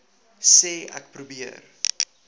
sê ek probeer